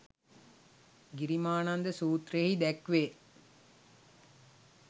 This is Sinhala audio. ගිරිමානන්ද සූත්‍රයෙහි දැක්වේ.